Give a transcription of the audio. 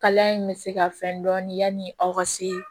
Kalaya in bɛ se ka fɛn dɔɔnin yani aw ka se